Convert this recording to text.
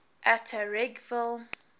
atteridgeville